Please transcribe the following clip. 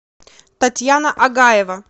татьяна агаева